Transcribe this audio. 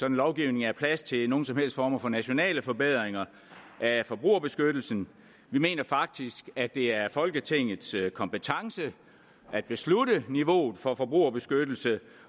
en lovgivning er plads til nogen som helst former for nationale forbedringer af forbrugerbeskyttelsen vi mener faktisk at det er folketingets kompetence at beslutte niveauet for forbrugerbeskyttelse